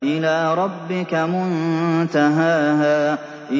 إِلَىٰ رَبِّكَ مُنتَهَاهَا